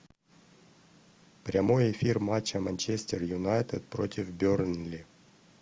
прямой эфир матча манчестер юнайтед против бернли